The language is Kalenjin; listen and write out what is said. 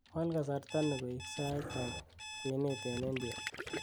wal kasarta nii koik sait ab kwenet en india